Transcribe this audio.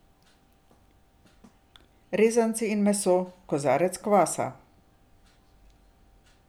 Rezanci in meso, kozarec kvasa.